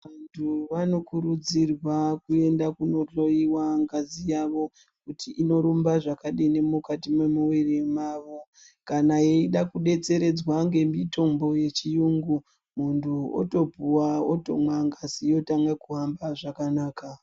Vantu vanokurudzirwa kuenda kunohloyiwa ngazi yavo kuti inorumba zvakadini mukati memuviri mavo kana yeida kudetseredzwa nemitombo yechiyungu muntu otopuwa otomwa ngazi yotanga kuhamba zvakanaka.